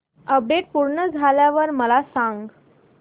update पूर्ण झाल्यावर मला सांग